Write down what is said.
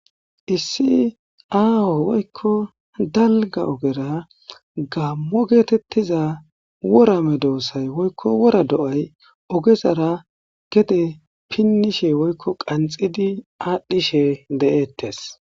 Issi aho woyikko daligga ogera Gamo getettiza wora medosati woyikko wora do'ayi ogezara gedee pinishshe woyikko qanixxidi adhdhishshe de'etes.